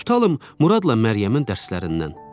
Tutalım Muradla Məryəmin dərslərindən.